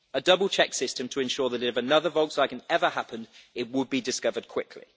A double check system to ensure that if another Volkswagen ever happened, it would be discovered quickly.